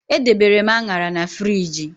Edebere m Añara na friji